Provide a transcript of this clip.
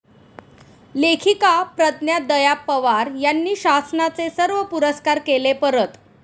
लेखिका प्रज्ञा दया पवार यांनी शासनाचे सर्व पुरस्कार केले परत